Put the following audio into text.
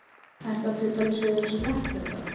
Þetta á til dæmis við um spretthlaupara.